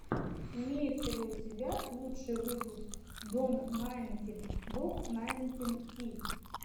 имеется ли у тебя лучший выпуск док найнтин док найнтин ти